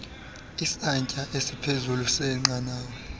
isantsya esiphezulu senqanawa